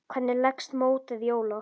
Hvernig leggst mótið í Ólaf?